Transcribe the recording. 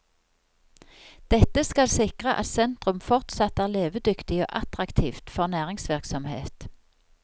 Dette skal sikre at sentrum fortsatt er levedyktig og attraktivt for næringsvirksomhet.